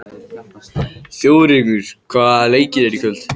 Þjóðrekur, hvaða leikir eru í kvöld?